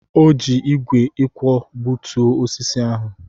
O ji ígwè ịkwọ gbutuo osisi ahụ.